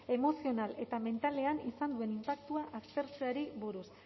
emozional eta mentalean izan duen inpaktua aztertzeari buruz